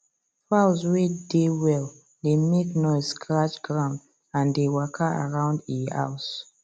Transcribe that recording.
fowls way dey well dey make noise scratch ground and they walka around e house